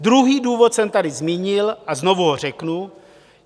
Druhý důvod jsem tady zmínil a znovu ho řeknu.